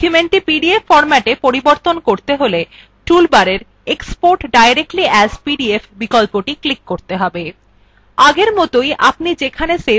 documentthe PDF ফর্ম্যাটে পরিবর্তিত করতে চাইলে tool bar export directly as pdf বিকল্পটি ক্লিক করতে হবে